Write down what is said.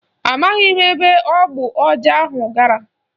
Ọ maghị ebe ogbu ọja ahụ gara